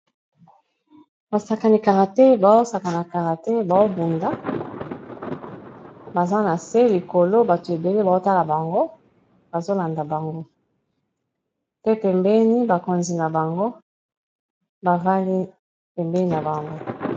Basakani karate, bazosaka na karate bazobunda, baza na se, likolo bato ebele bazotala bango, bazolanda bango, pembeni bakonzi na bango bafandi pembeni na bango.